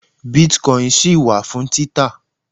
bitcoin ṣì wà fún títà